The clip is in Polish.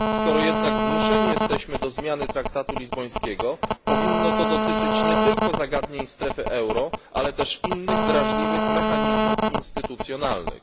Skoro jesteśmy jednak zmuszeni do zmiany traktatu lizbońskiego, powinno to dotyczyć nie tylko zagadnień strefy euro, ale też innych drażliwych mechanizmów instytucjonalnych.